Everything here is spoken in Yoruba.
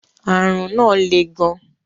Àrùn náà le gan.